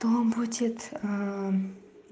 то будет